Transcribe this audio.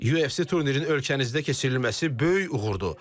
UFC turnirinin ölkənizdə keçirilməsi böyük uğurdur.